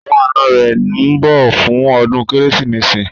Àwọn ànọ́ rẹ̀ ńbọ̀ fún ọdún Kérésìmesì